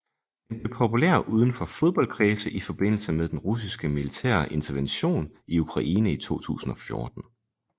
Den blev populær udenfor fodboldkredse i forbindelse med den russiske militære intervention i Ukraine i 2014